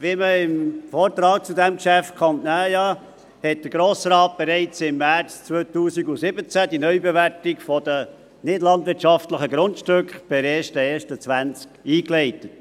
Wie man dem Vortrag zu diesem Geschäft entnehmen kann, leitete der Grosse Rat bereits im März 2017 die Neubewertung der nichtlandwirtschaftlichen Grundstücke per 1. Januar 2020 ein.